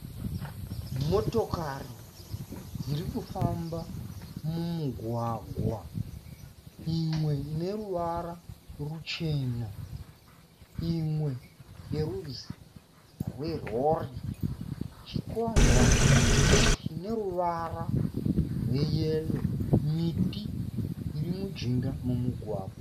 Motokari iri kufamba mumugwagwa imwe ine ruvara ruchena imwe yerudzi rwerori. Chikwangwani chine ruvara rweyero miti iri mijinga memugwagwa.